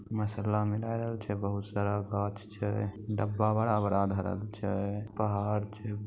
मसाला मिलायल छे बहुत सारा गाछ छे डब्बा बड़ा-बड़ा धरल छे पहाड़ छे।